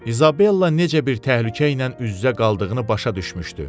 İzabella necə bir təhlükə ilə üz-üzə qaldığını başa düşmüşdü.